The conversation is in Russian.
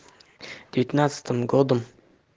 пятнадцатым годом